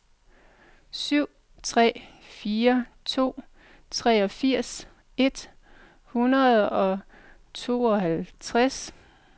syv tre fire to treogfirs et hundrede og tooghalvtreds